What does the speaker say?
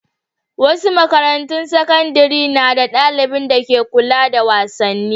Wasu makarantun sakandare na da ɗalibin dake kula da wasanni.